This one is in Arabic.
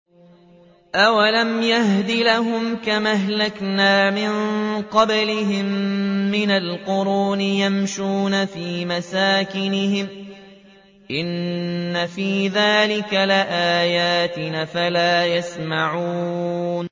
أَوَلَمْ يَهْدِ لَهُمْ كَمْ أَهْلَكْنَا مِن قَبْلِهِم مِّنَ الْقُرُونِ يَمْشُونَ فِي مَسَاكِنِهِمْ ۚ إِنَّ فِي ذَٰلِكَ لَآيَاتٍ ۖ أَفَلَا يَسْمَعُونَ